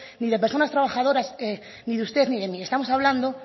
ni de personas trabajadoras ni de usted ni de mí estamos hablando